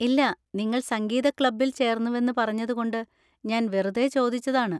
ഇല്ല, നിങ്ങൾ സംഗീത ക്ലബ്ബിൽ ചേർന്നുവെന്ന് പറഞ്ഞത് കൊണ്ട് ഞാൻ വെറുതെ ചോദിച്ചതാണ്.